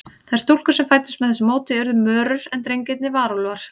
Þær stúlkur sem fæddust með þessu móti urðu mörur, en drengirnir varúlfar.